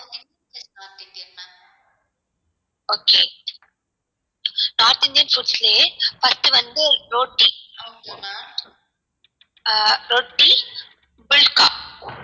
okay north Indian foods லயே first வந்து ஆஹ் ரொட்டி ரொட்டி pulka okay